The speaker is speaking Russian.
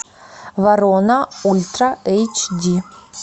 ворона ультра эйч ди